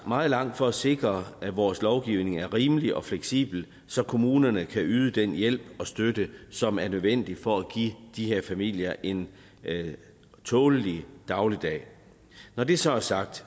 meget langt for at sikre at vores lovgivning er rimelig og fleksibel så kommunerne kan yde den hjælp og støtte som er nødvendig for at give de her familier en tålelig dagligdag når det så er sagt